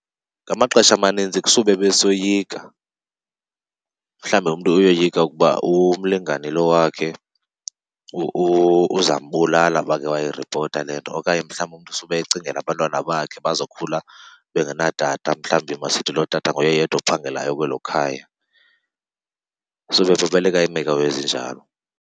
Ngamaxesha amaninzi kusube besoyika, mhlawumbi umntu uyoyika ukuba umlingane lo wakhe uzambulala uba uke wayiripota le nto. Okanye mhlawumbi umntu sube ecingela abantwana bakhe bazokhula bengenatata, mhlawumbi masithi loo tata nguye yedwa ophangelayo kwelo khaya. Suke bebaleka iimeko ezinjalo.